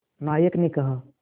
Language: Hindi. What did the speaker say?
नायक ने कहा